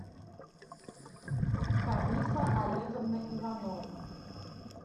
ханифа олеговна иванова